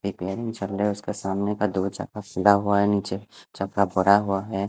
एक वें चल री है उसके सामने का भरा हुआ है।